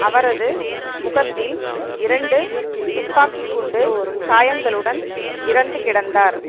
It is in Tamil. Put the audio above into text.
அவரது முகத்தில் இரண்டு துப்பாக்கி குண்டு காயங்களுடன் இறந்து கிடந்தார்